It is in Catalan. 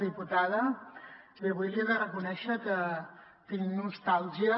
diputada bé avui li he de reconèixer que tinc nostàlgia